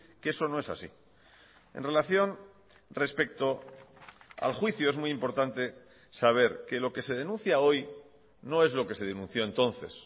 que eso no es así en relación respecto al juicio es muy importante saber que lo que se denuncia hoy no es lo que se denunció entonces